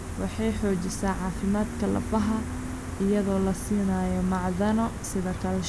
Waxay xoojisaa caafimaadka lafaha iyadoo la siinayo macdano sida calcium.